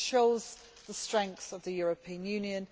This shows the strength of the European Union